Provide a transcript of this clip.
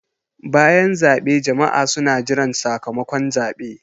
Bayan zaɓe jama'a suna jiran sakamakon zaɓe.